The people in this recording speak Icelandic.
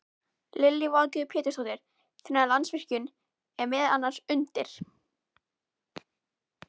Lillý Valgerður Pétursdóttir: Þannig að Landsvirkjun er meðal annars undir?